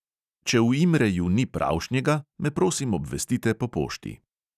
Če v imreju ni pravšnjega, me prosim obvestite po pošti.